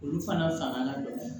Olu fana fanga ka bon